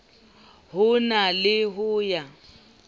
ho na le ho ya